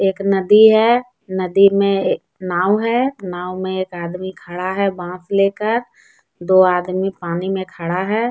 एक नदी है नदी में नाव है नाव में एक आदमी खड़ा है बास लेकर दो आदमी पानी में खड़ा है।